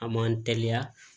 A m'an teliya